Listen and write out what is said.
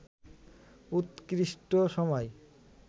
উৎকৃষ্ট সময়